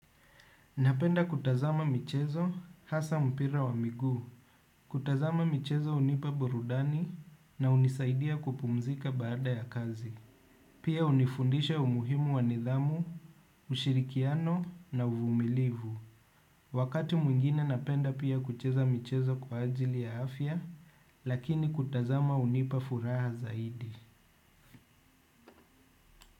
Napenda kutazama michezo hasa mpira wa miguu. Kutazama michezo hunipa burudani na hunisaidia kupumzika baada ya kazi. Pia hunifundisha umuhimu wa nidhamu, ushirikiano na uvumilivu. Wakati mwingine napenda pia kucheza michezo kwa ajili ya afya. Lakini kutazama hunipa furaha zaidi.